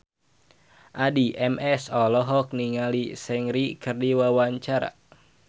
Addie MS olohok ningali Seungri keur diwawancara